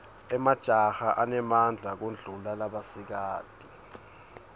emajaha anemadla kudulla labasikati